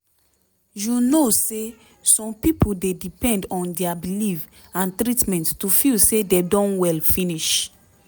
you know say some pipo dey depend on dia belief and treatment to feel say dem don well finish